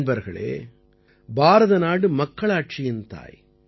நண்பர்களே பாரத நாடு மக்களாட்சியின் தாய்